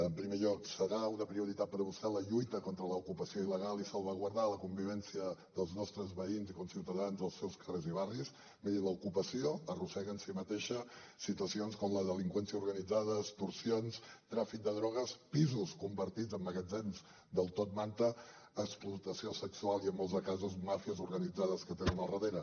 en primer lloc serà una prioritat per a vostè la lluita contra l’ocupació il·legal i salvaguardar la convivència dels nostres veïns i conciutadans dels seus carrers i barris miri l’ocupació arrossega en si mateixa situacions com la delinqüència organitzada extorsions tràfic de drogues pisos convertits en magatzems del top manta explotació sexual i en molts casos màfies organitzades que tenen al darrere